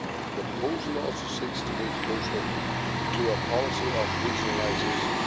The proposal also seeks to move closer to a policy of regionalisation.